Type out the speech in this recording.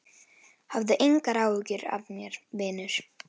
Hafðu engar áhyggjur af mér, vinur!